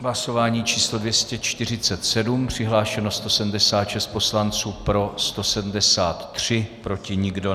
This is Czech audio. Hlasování číslo 247, přihlášeno 176 poslanců, pro 173, proti nikdo.